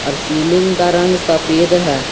Ceiling का रंग सफेद है।